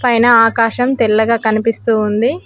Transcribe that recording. పైన ఆకాశం తెల్లగా కనిపిస్తూ ఉంది.